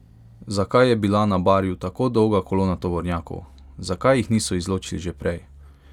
Zakaj je bila na Barju tako dolga kolona tovornjakov, zakaj jih niso izločili že prej?